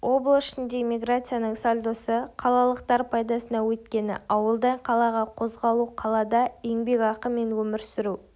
облыс ішіндегі миграцияның сальдосы қалалықтар пайдасына өйткені ауылдан қалаға қозғалу қалада еңбекақы мен өмір сүру